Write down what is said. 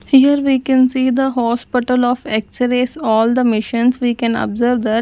Here we can see the hospital of x-rays. All the missions we can observe that --